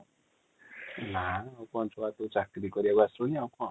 ନା ଚାକିରି କରିବାକୁ ଆସିବାନୀ ଆଉ କ'ଣ?